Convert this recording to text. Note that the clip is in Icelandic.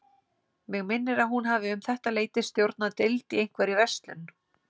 Mig minnir að hún hafi um þetta leyti stjórnað deild í einhverri verslun.